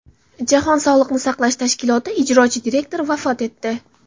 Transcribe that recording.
Jahon sog‘liqni saqlash tashkiloti ijrochi direktori vafot etdi.